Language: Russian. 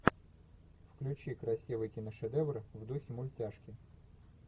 включи красивый киношедевр в духе мультяшки